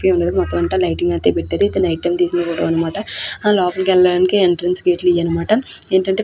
ఎదర మొత్తం అంతా లైటింగ్ అయితే పెట్టారు ఇది నైట్ టైం తీసిన ఫోటో అన్నమాట ఆ లోపలికి వెళ్లడానికి ఎంట్రెన్స్ గేట్ లివి అన్నమాట ఏంటంటే --